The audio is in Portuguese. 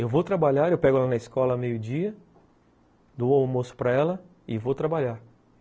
Eu vou trabalhar, eu pego ela na escola a meio dia, dou o almoço para ela e vou trabalhar.